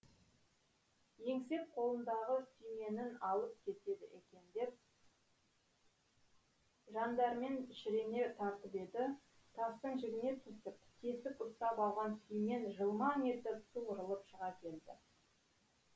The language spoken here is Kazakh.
еңсеп қолындағы сүйменін алып кетеді екен деп жандәрмен шірене тартып еді тастың жігіне түсіп тесік ұстап қалған сүймен жылмаң етіп суырылып шыға келді